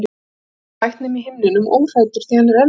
Það er hvergi hægt nema í himninum óhræddur því hann er endanlegur